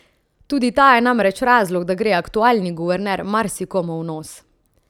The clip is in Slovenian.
Tudi ta je namreč razlog, da gre aktualni guverner marsikomu v nos.